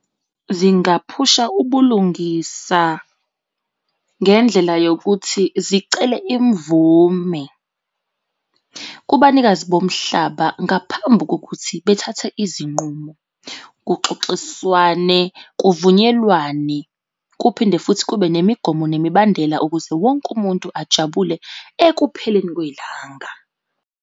Zingaphusha ubulungisa ngendlela yokuthi zicele imvume kubanikazi bomhlaba ngaphambi kokuthi bethathe izinqumo. Kuxoxiswane kuvunyelwane kuphinde futhi kube nemigomo nemibandela ukuze wonke umuntu ajabule ekupheleni kwelanga.